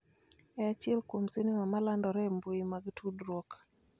e achiel kuom sinema ma landore e mbui mag tudruok